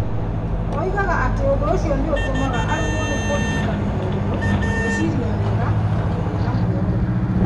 Oigaga atĩ ũndũ ũcio nĩ ũtũmaga aremwo nĩ kũririkana maũndũ. Gwĩciria wega na kũgĩa na muoroto.